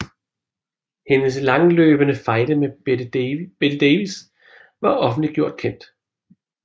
Hendes langløbende fejde med Bette Davis var offentliggjort kendt